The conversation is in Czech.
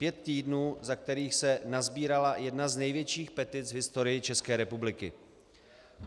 Pět týdnů, za kterých se nasbírala jedna z největších petic v historii České republiky.